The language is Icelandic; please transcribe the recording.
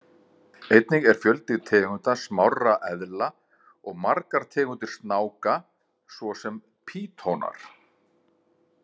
Einnig er fjöldi tegunda smárra eðla og margar tegundir snáka svo sem pýtonar.